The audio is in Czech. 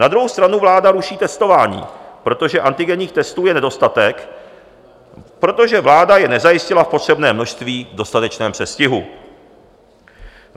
Na druhou stranu vláda ruší testování, protože antigenních testů je nedostatek, protože vláda je nezajistila v potřebném množství v dostatečném předstihu.